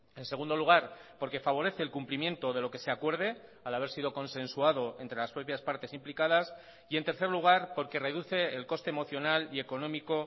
en segundo lugar porque favorece el cumplimiento de lo que se acuerde al haber sido consensuado entre las propias partes implicadas y en tercer lugar porque reduce el coste emocional y económico